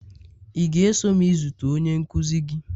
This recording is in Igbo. ị ga-eso m izute onye nkuzi gị?